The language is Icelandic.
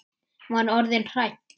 Var orðin hrædd!